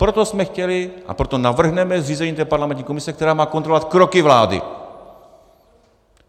Proto jsme chtěli a proto navrhneme zřízení té parlamentní komise, která má kontrolovat kroky vlády.